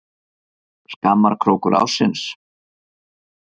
Skammarkrókur ársins?